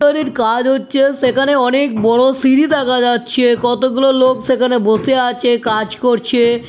বাড়ির কাজ হচ্ছে সেখানে অনেক বড়ো সিঁড়ি দেখা যাচ্ছে। কতগুলো লোক সেখানে বসে আছে কাজ করছে।